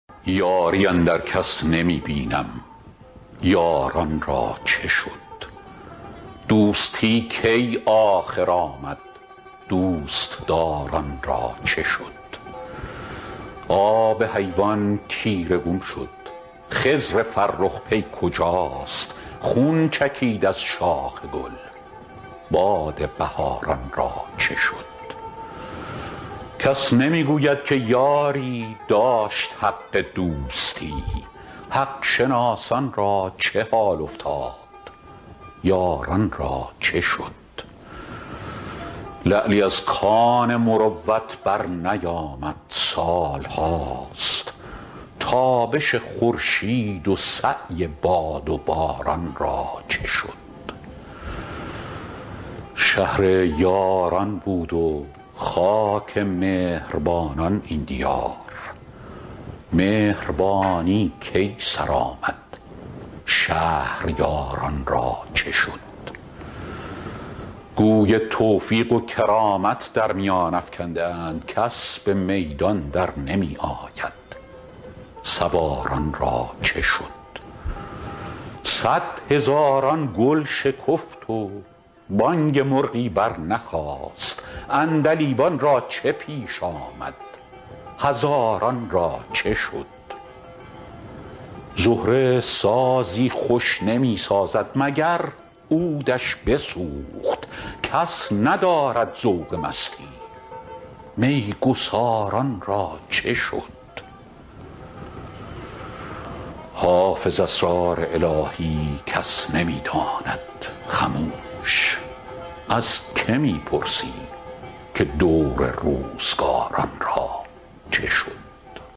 یاری اندر کس نمی بینیم یاران را چه شد دوستی کی آخر آمد دوست دار ان را چه شد آب حیوان تیره گون شد خضر فرخ پی کجاست خون چکید از شاخ گل باد بهار ان را چه شد کس نمی گوید که یاری داشت حق دوستی حق شناسان را چه حال افتاد یاران را چه شد لعلی از کان مروت برنیامد سال هاست تابش خورشید و سعی باد و باران را چه شد شهر یاران بود و خاک مهر بانان این دیار مهربانی کی سر آمد شهریار ان را چه شد گوی توفیق و کرامت در میان افکنده اند کس به میدان در نمی آید سوار ان را چه شد صدهزاران گل شکفت و بانگ مرغی برنخاست عندلیبان را چه پیش آمد هزاران را چه شد زهره سازی خوش نمی سازد مگر عود ش بسوخت کس ندارد ذوق مستی می گسار ان را چه شد حافظ اسرار الهی کس نمی داند خموش از که می پرسی که دور روزگار ان را چه شد